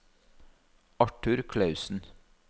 Arthur Clausen